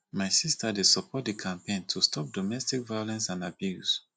my sista dey support di campaign to stop domestic violence and abuse